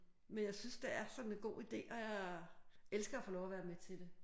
Men jeg synes det er sådan en god idé og jeg elsker at få lov til at være med til det